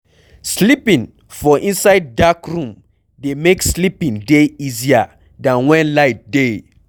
Sleeping for inside dark room dey make sleeping dey easier than when light dey